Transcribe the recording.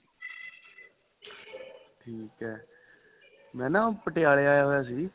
ਠੀਕ ਏ ਮੈਂ ਨਾਂ ਪਟਿਆਲਾਂ ਆਇਆ ਹੋਇਆ ਸੀ